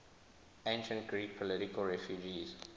ancient greek political refugees